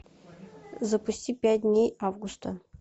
запусти пять дней августа